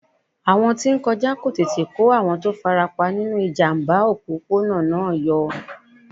Àwọn tí ń kọjá ló tètè kó àwọn tó farapa nínú ìjàmbá òpópónà náà yọ.